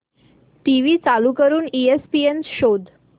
TV चालू करून ESPN शोध